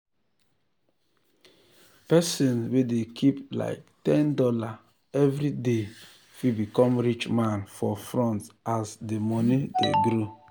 person wey dey keep like ten dollars every dey fit become rich man for front as the money dey grow.